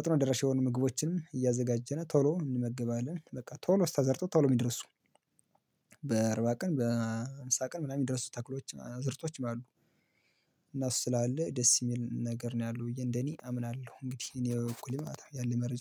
ፈጥኖ ደረሽ ምግቦችን እያዘጋጀን ቶሎ እንመገባለን። በቃ ቶሎ ተዘርተው ቶሎ የሚደርሱ በአርባ ቀን በምሳ ቀን ምናምን የሚደርሱ አታክሎች አዝርቶች አሉ። እና እሱ ስላለ ደስ የሚል ነገር ነው ያለው ብዬ እንደኔ አምናለሁ። እንግዲህ እኔ እኮ ልማት ያለህ መረጃ